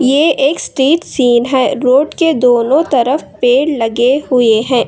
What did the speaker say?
ये एक street scene है रोड के दोनों तरफ पेड़ लगे हुए है।